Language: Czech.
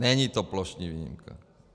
Není to plošná výjimka.